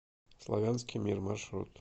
славянский мир маршрут